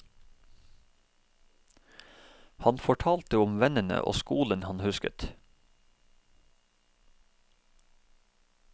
Han fortalte om vennene og skolen han husket.